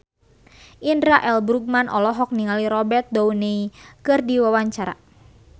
Indra L. Bruggman olohok ningali Robert Downey keur diwawancara